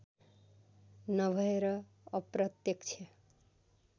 नभएर अप्रत्यक्ष